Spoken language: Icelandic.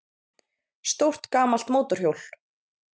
Stórt gamalt mótorhjól